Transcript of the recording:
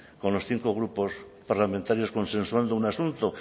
con los cinco grupos parlamentarios consensuando un asunto